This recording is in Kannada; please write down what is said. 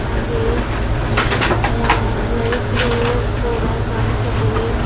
ಹಾಗೆಯೇ ಯ ಲೈಟ್ಸ್ ಗಳು ಕೂಡ ಕಾಣಿಸುತ್ತಿವೆ.